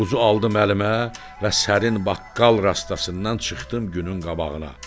Buzu aldım əlimə və sərin baqqal rastasından çıxdım günün qabağına.